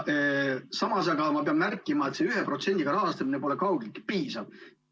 Samas aga pean märkima, et see 1%‑ga rahastamine pole kaugeltki piisav.